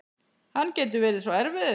Hann getur verið svo erfiður